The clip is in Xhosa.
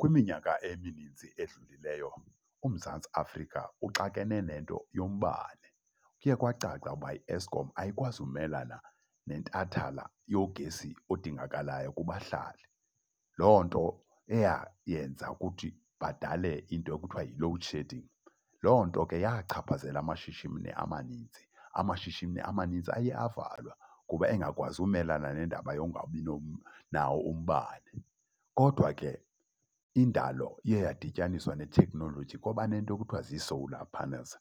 Kwiminyaka eminintsi edlulileyo uMzantsi Afrika uxakene nento yombane. Kuye kwacaca ukuba iEskom ayikwazi umelana nentathala yogesi odingakalayo kubahlali. Loo nto eyayenza ukuthi badale into ekuthiwa yi-loadshedding. Loo nto ke yachaphazela amashishini amaninzi. Amashishini amanintsi aye avalwa kuba engakwazi umelana nendaba yokungabi nawo umbane. Kodwa ke indalo iyeyadityaniswa ne-technology kwaba nento ekuthiwa zi-solar panels.